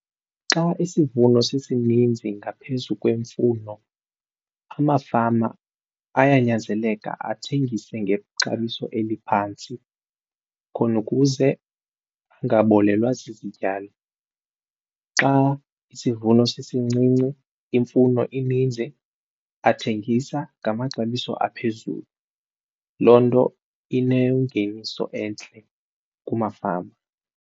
Xa isivuno sisininzi ngaphezu kwemfuno amafama ayanyanzeleka athengise ngexabiso eliphantsi khona ukuze angabolelwa zizityalo. Xa isivuno sisincinci imfuno ininzi athengisa ngamaxabiso aphezulu loo nto inengeniso entle kumafama.